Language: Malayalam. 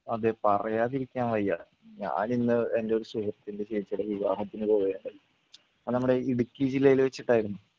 അതെ പറയാതിരിക്കാൻ വയ്യ ഞാൻ ഇന്ന് എൻ്റെയൊരു സുഹൃത്തിൻ്റെ ചേച്ചിയുടെ വിവാഹത്തിന് പോയരുന്നു. അത് നമ്മടെ ഇടുക്കി ജില്ലയിൽ വച്ചിട്ടായിരുന്നു.